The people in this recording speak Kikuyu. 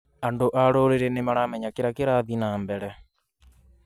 Andũ a rũrĩrĩ nĩmaramenya kĩrĩa kĩrathiĩ nambere